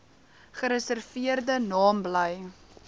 gereserveerde naam bly